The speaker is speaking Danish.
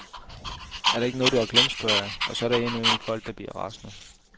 Er der ikke noget, du har glemt, spørger jeg, og så er der indimellem folk, der bliver rasende.